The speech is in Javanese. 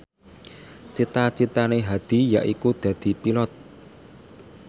cita citane Hadi yaiku dadi Pilot